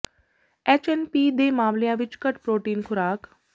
H N P ਦੇ ਮਾਮਲਿਆਂ ਵਿੱਚ ਘੱਟ ਪ੍ਰੋਟੀਨ ਖੁਰਾਕ